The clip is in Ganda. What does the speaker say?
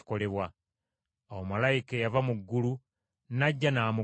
Awo malayika eyava mu ggulu n’ajja n’amugumya.